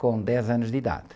com dez anos de idade.